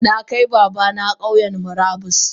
Nakai babana Kauyan murabus.